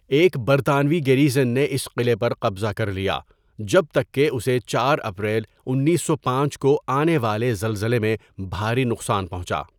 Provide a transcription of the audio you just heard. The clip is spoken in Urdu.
ایک برطانوی گیریژن نے اس قلعے پر قبضہ کر لیا جب تک کہ اسے چار اپریل انیسو پانچ کو آنے والے زلزلے میں بھاری نقصان پہنچا.